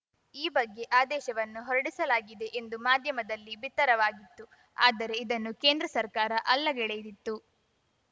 ಈ ಬಗ್ಗೆ ಆದೇಶವನ್ನೂ ಹೊರಡಿಸಲಾಗಿದೆ ಎಂದು ಮಾಧ್ಯಮದಲ್ಲಿ ಬಿತ್ತರವಾಗಿತ್ತು ಆದರೆ ಇದನ್ನು ಕೇಂದ್ರ ಸರ್ಕಾರ ಅಲ್ಲಗೆಳೆದಿತ್ತು